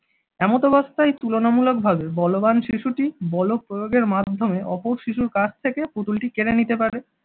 এমতাবস্তায় তুলনামূলকভাবে বলবান শিশুটি বল প্রয়োগের মাধ্যমে অপর শিশুর কাছ থেকে পুতুলটি কেড়ে নিতে পারে,